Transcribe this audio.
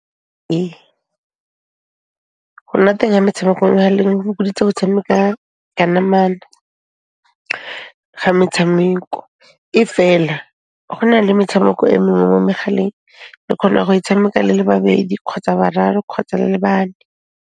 Ee, go nna teng ha metshameko mo mehaleng ho fokoditse go tshameka ka namana ga metshameko. E fela, go na le metshameko e mengwe mo megaleng le kgona go e tshameka le le babedi kgotsa bararo kgotsa le le bane.